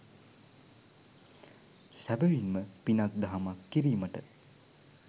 සැබැවින්ම පිනක් දහමක් කිරීමට